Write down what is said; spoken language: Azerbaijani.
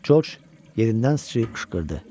Corc yerindən sıçıyıb qışqırdı.